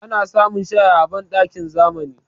Ana samun shaya a banɗakin zamani.